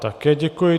Také děkuji.